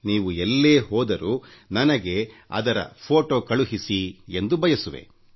ನೀವು ಎಲ್ಲೆ ಹೋದರೂ ನನಗೆ ಅದರ ಫೋಟೊ ಕಳುಹಿಸಿ ಎಂದು ಬಯಸುವೆ